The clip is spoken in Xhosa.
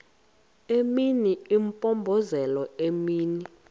imini impompozelela imini